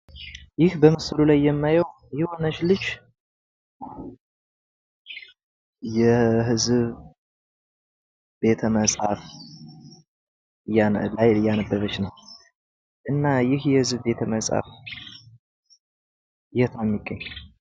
ይህ በምስሉ ላይ የማየው የሆነች ልጅ የህዝብ ቤተመፃፍት ላይ እያነበበች ነው እና ይህ የህዝብ ቤተ መጻፍት የት ነው የሚገኘው?